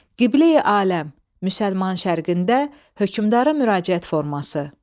Qiblə-i aləm, müsəlman şərqində hökmdara müraciət forması.